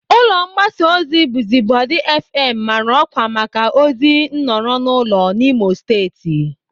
Ụlọ mgbasa ozi Buzubodi fm mara ọkwa maka ozi nọrọ n'ụlọ n'Imo steeti.